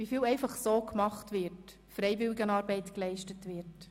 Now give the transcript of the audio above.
wie viel «einfach so» gemacht, Freiwilligenarbeit geleistet wird.